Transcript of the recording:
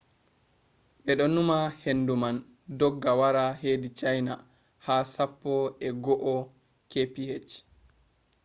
be do numa hendu man dogga wara hedi china ha sappo e go’o kph